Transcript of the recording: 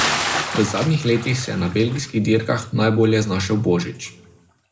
V zadnjih letih se je na belgijskih dirkah najbolje znašel Božič.